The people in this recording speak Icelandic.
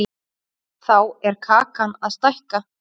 Þá er kakan að stækka.